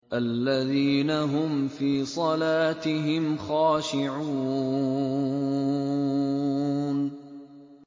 الَّذِينَ هُمْ فِي صَلَاتِهِمْ خَاشِعُونَ